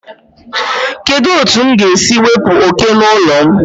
Kedu otu m ga-esi wepụ oke n'ụlọ m?